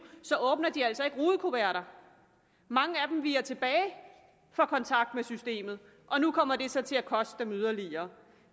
åbner de altså ikke rudekuverter mange af dem viger tilbage for kontakt med systemet og nu kommer det så til at koste dem yderligere